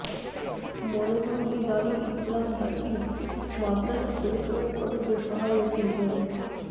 মনোহরদী দারুল ইসলাম দাখিল মাদরাসা পরিচালনা কমিটির সভাপতি মো